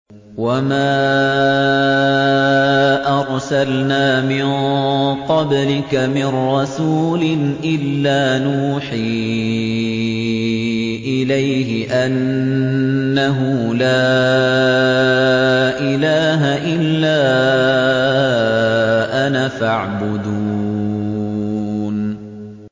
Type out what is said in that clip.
وَمَا أَرْسَلْنَا مِن قَبْلِكَ مِن رَّسُولٍ إِلَّا نُوحِي إِلَيْهِ أَنَّهُ لَا إِلَٰهَ إِلَّا أَنَا فَاعْبُدُونِ